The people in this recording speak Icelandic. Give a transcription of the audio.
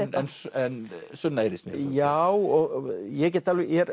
en Sunna heyrist mér já ég er